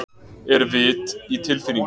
Er vit í tilfinningum?